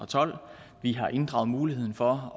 tolv vi har inddraget muligheden for